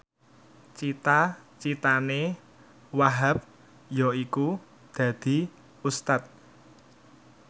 cita citane Wahhab yaiku dadi Ustad